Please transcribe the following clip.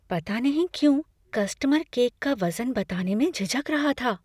पता नहीं क्यों, कस्टमर केक का वज़न बताने में झिझक रहा था।